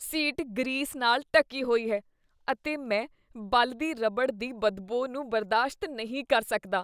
Seat grease ਨਾਲ ਢੱਕੀ ਹੋਈ ਹੈ ਅਤੇ ਮੈਂ ਬਲਦੀ ਰਬੜ ਦੀ ਬਦਬੋ ਨੂੰ ਬਰਦਾਸ਼ਤ ਨਹੀਂ ਕਰ ਸਕਦਾ।